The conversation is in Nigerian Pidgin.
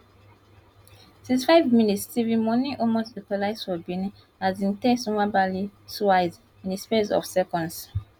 sixty five minutes steve mounie almost equalise for benin as im test nwabali twice in di space of seconds